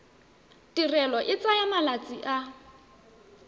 tirelo e tsaya malatsi a